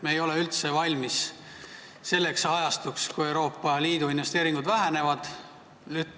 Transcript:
Me ei ole üldse valmis selleks ajastuks, kui Euroopa Liidu investeeringud vähenevad.